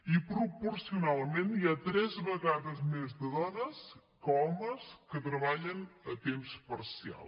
i proporcionalment hi ha tres vegades més dones que homes que treballen a temps parcial